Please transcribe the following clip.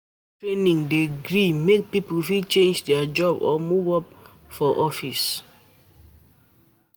Skill training dey gree make people fit change their job or move up for office.